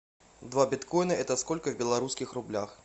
два биткоина это сколько в белорусских рублях